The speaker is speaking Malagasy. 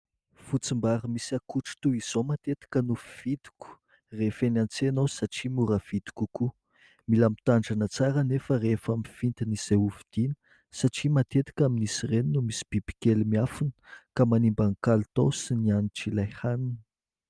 Fotsim-bary misy akotry toy izao matetika no fividiko rehefa eny an-tsena aho satria mora vidy kokoa, mila mitandrina tsara anefa rehefa mifidy an'izay ho vidiana satria matetika amin'izy ireny no misy bibikely miafina ka manimba ny kalitao sy ny hanitr'ilay hanina.